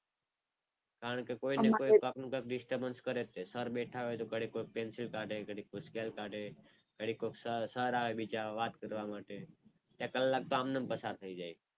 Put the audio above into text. કારણ કે કોઈને કોઈ કંઈકનું કંઈક disturbance કરે તે સર બેઠા હોય તો ઘડીકમાં પેન્સિલ કાઢે, સ્કેલ કાઢે, ઘડીક કોક સર આવે બીજા વાત કરવા માટે, એક કલાક તો આમને આમ પસાર થઈ જાય.